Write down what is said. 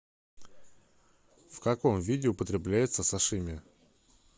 в каком виде употребляется сашими